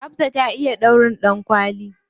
Hafsah ta iya ɗaurin ɗankwali.